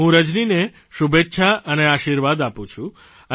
હું રજનીને શુભેચ્છા અને આશીર્વાદ આપું છું